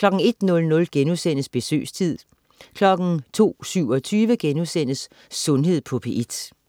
01.00 Besøgstid* 02.27 Sundhed på P1*